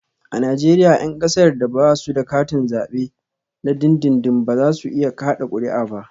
A Najeriya 'yan kasar da ba su da katin zabe na dindindin ba za su iya kada kuri'a ba